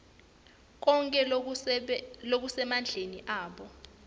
konkhe lokusemandleni abo